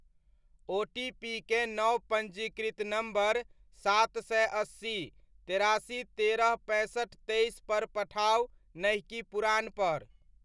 ओटीपीकेँ नव पञ्जीकृत नम्बर सात सए अस्सी, तेरासी, तेरह, पैंसठि, तेइस पर पठाउ नहि कि पुरान पर।